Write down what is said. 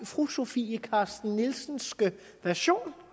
fru sofie carsten nielsenske version